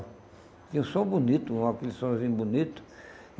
Tinha um som bonito, um aquele sonzinho bonito.